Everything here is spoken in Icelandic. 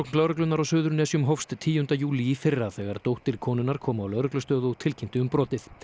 lögreglunnar á Suðurnesjum hófst tíunda júlí í fyrra þegar dóttir konunnar kom á lögreglustöð og tilkynnti um brotið